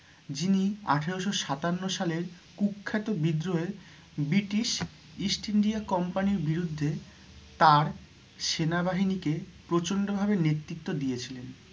যিনি আঠেরোশো সাতান্ন সালের কূ-খ্যাত বিদ্রোহের British East India Company র বিরুদ্ধে তাঁর সেনা বাহিনীকে প্রচন্ড ভাবে নেতৃত্ব দিয়েছিলেন।